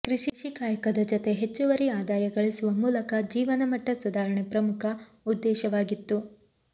ಕೃಷಿ ಕಾಯಕದ ಜತೆ ಹೆಚ್ಚುವರಿ ಆದಾಯ ಗಳಿಸುವ ಮೂಲಕ ಜೀವನ ಮಟ್ಟ ಸುಧಾರಣೆ ಪ್ರಮುಖ ಉದ್ದೇಶವಾಗಿತ್ತು